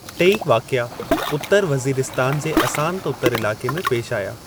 टेई वाक़िआ उत्तर वज़ीरिस्तान जे असांत उतर इलाक़े में पेशि आया।